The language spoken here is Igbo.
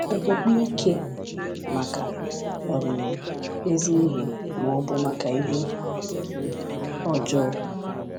Okpukpe—Ike Maka um Ezi Ihe ma ọ bụ Maka Ihe Ọjọọ?